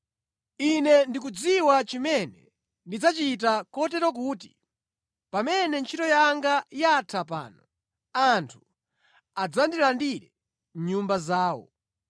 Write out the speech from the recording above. Ine ndikudziwa chimene ndidzachita kotero kuti, pamene ntchito yanga yatha pano, anthu adzandilandire mʼnyumba zawo.’